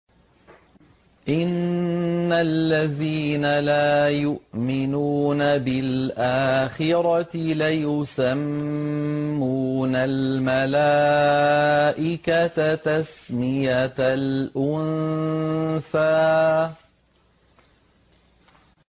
إِنَّ الَّذِينَ لَا يُؤْمِنُونَ بِالْآخِرَةِ لَيُسَمُّونَ الْمَلَائِكَةَ تَسْمِيَةَ الْأُنثَىٰ